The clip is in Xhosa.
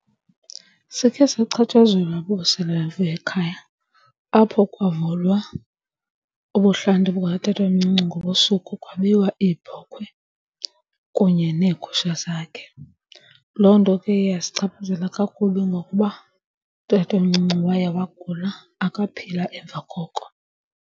Sikhe sachatshazelwa bubusela ekhaya apho kwavulwa ubuhlanti bukatatomncinci ngobusuku kwabiwa iibhokhwe kunye neegusha zakhe. Loo nto ke yasichaphazela kakubi ngokuba utatomncinci waya wagula akaphila emva koko.